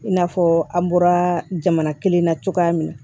I n'a fɔ an bɔra jamana kelen na cogoya min na